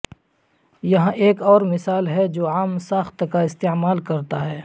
یہاں ایک اور مثال ہے جو عام ساخت کا استعمال کرتا ہے